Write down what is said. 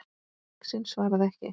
Uxinn svaraði ekki.